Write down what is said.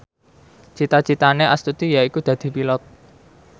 cita citane Astuti yaiku dadi Pilot